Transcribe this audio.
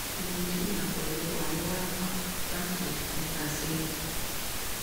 mo n jiya pẹlu arun warapa lati oṣu mẹta sẹhin